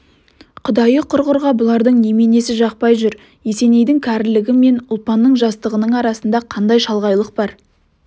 құдайы құрғырға бұлардың неменесі жақпай жүр есенейдің кәрілігі мен ұлпанның жастығының арасында қандай шалғайлық бар